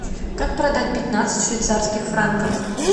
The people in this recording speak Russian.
как продать пятнадцать швейцарских франков